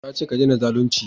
na ce ka dena zalunci!